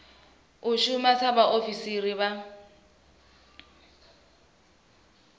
u shuma sa vhaofisiri vha